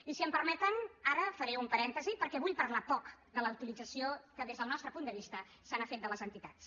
i si m’ho permeten ara faré un parèntesi perquè vull parlar poc de la utilització que des del nostre punt de vista s’ha fet de les entitats